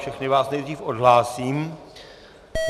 Všechny vás nejdřív odhlásím.